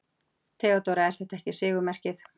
THEODÓRA: Er þetta ekki sigurmerkið?